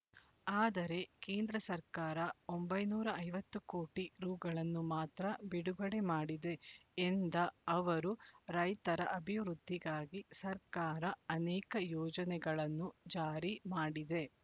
ಆದರೆ ಕೇಂದ್ರ ಸರ್ಕಾರ ಒಂಬೈನೂರ ಐವತ್ತು ಕೋಟಿ ರೂಗಳನ್ನು ಮಾತ್ರ ಬಿಡುಗಡೆ ಮಾಡಿದೆ ಎಂದ ಅವರು ರೈತರ ಅಭಿವೃದ್ಧಿಗಾಗಿ ಸರ್ಕಾರ ಅನೇಕ ಯೋಜನೆಗಳನ್ನು ಜಾರಿ ಮಾಡಿದೆ